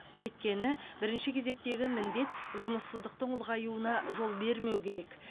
өйткені бірінші кезектегі міндет жұмыссыздықтың ұлғаюуына жол бермеу керек